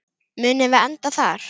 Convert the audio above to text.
Munum við enda þar?